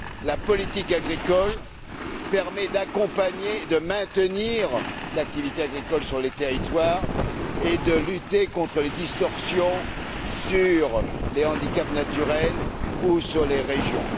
La politique agricole permet d'accompagner, de maintenir l'activité agricole sur les territoires et de lutter contre les distorsions liées aux handicaps naturels ou aux régions.